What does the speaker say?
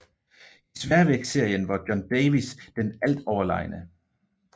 I sværvægtsserien var John Davis den altoverlegne